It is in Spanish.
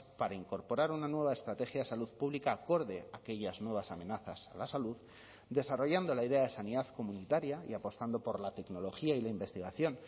para incorporar una nueva estrategia de salud pública acorde a aquellas nuevas amenazas a la salud desarrollando la idea de sanidad comunitaria y apostando por la tecnología y la investigación